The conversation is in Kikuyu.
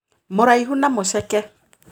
Mũraihu na mũceke